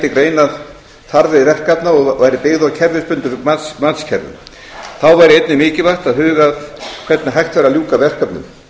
greina þarfir verkefna og væri byggð á kerfisbundnum matskerfum þá væri einnig mikilvægt að huga að hvernig hægt væri að ljúka verkefnum